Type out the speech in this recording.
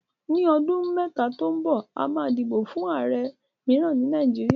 Ní ọdún mẹ́ta tó ń bọ̀, a máa dìbò fún ààrẹ mìíràn ní Nàìjíríà